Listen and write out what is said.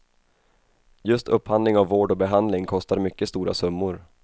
Just upphandling av vård och behandling kostar mycket stora summor.